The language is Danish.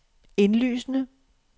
indlysende